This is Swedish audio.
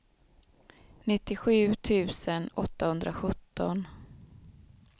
nittiosju tusen åttahundrasjutton